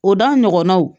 O da ɲɔgɔnnaw